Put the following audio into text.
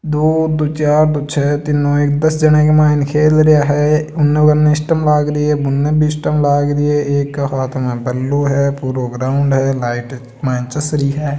दो दो चार दो छह तीननौ एक दस जना इक्क माईन खेल रया है अन्न बन्न स्टंप लाग री है बुन्न भी स्टंप लाग री है एक हाथ में बल्लो है पुरो ग्राउंड है लाइट माईन चस रही है।